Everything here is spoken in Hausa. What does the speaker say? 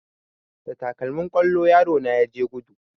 Da takalmin kwallo yaro na ya je gudu